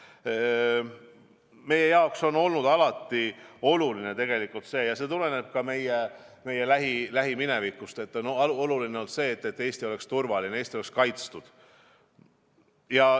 Ka on meie jaoks olnud alati oluline see – see tuleneb ka meie lähilähiminevikust –, et Eesti oleks turvaline, et Eesti oleks kaitstud.